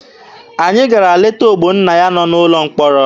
Anyị gara leta Ogbonnaya nọ n'ụlọ mkpọrọ.